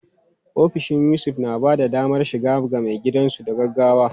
Ofishin Yusuf na ba da damar shiga ga maigidansu da gaggawa.